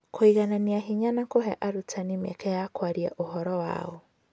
Kũiganania hinya na kũhe arutani mĩeke ya kwaria ũhoro wao